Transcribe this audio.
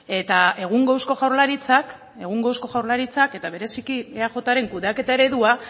eta egungo eusko jaurlaritzak egungo eusko jaurlaritzak eta bereziki eajren kudeaketa eredua